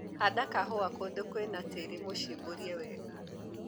Handa kahũa kũndũ kwĩna tĩri mũcimburie wega.